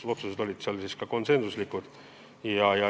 Otsused olid konsensuslikud.